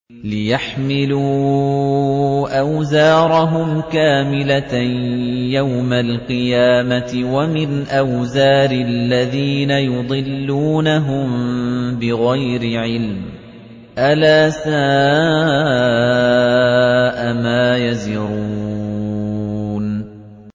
لِيَحْمِلُوا أَوْزَارَهُمْ كَامِلَةً يَوْمَ الْقِيَامَةِ ۙ وَمِنْ أَوْزَارِ الَّذِينَ يُضِلُّونَهُم بِغَيْرِ عِلْمٍ ۗ أَلَا سَاءَ مَا يَزِرُونَ